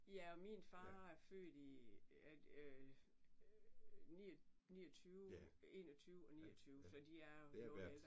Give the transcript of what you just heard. Ja og min far er født i er det 29 21 og 29 så de er noget ældre